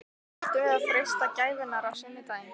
Ættum við að freista gæfunnar á sunnudaginn?